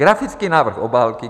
Grafický návrh obálky.